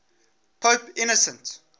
pope innocent